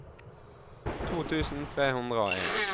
to tusen tre hundre og en